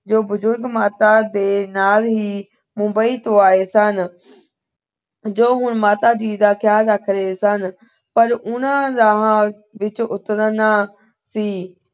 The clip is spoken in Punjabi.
ਜੋ ਬਜੁਰਗ ਮਾਤਾ ਦੇ ਨਾਲ ਹੀ ਮੁੰਬਈ ਤੋਂ ਆਏ ਸਨ। ਜੋ ਹੁਣ ਮਾਤਾ ਜੀ ਦਾ ਖਿਆਲ ਰੱਖ ਰਹੇ ਸਨ ਪਰ ਉਹਨਾਂ ਨੇ ਰਾਹ ਵਿੱਚ ਉਤਰਨਾ ਸੀ।